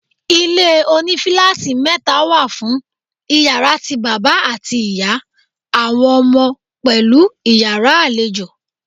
Ilé oní fíláátì mẹ́ta wà fún Ìyàrá ti bàbá àti ìyá, àwọn ọmọ, pẹ̀lú Ìyàrá àlejò.